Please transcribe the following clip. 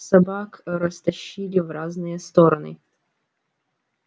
собак растащили в разные стороны